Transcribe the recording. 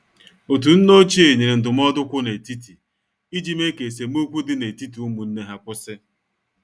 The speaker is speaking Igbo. Otu nne ochie nyere ndụmọdụ kwụ n' etiti iji mee ka esemokwi dị n'etiti ụmụnne ha kwụsị.